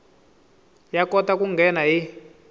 ya kota ku nghena hi